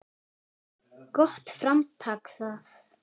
Gott framtak það.